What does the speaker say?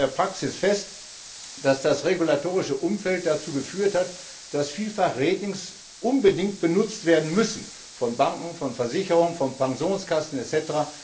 Wir stellen in der Praxis fest, dass das regulatorische Umfeld dazu geführt hat, dass vielfach Ratings unbedingt benutzt werden müssen, von Banken, von Versicherungen, von Pensionskassen etc.,